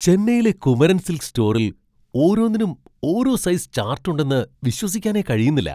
ചെന്നൈയിലെ കുമരൻ സിൽക്സ് സ്റ്റോറിൽ ഓരോന്നിനും ഓരോ സൈസ് ചാർട്ട് ഉണ്ടെന്ന് വിശ്വസിക്കാനേ കഴിയുന്നില്ല.